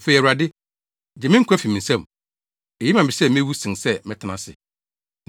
Afei, Awurade! Gye me nkwa fi me nsɛm. Eye ma me sɛ mewu sen sɛ mɛtena ase.”